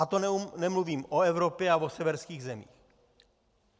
A to nemluvím o Evropě a o severských zemích.